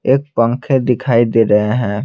एक पंखे दिखाई दे रहे हैं।